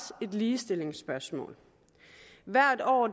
et ligestillingsspørgsmål hvert år